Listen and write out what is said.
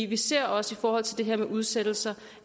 vi ser også i forhold til det her med udsættelser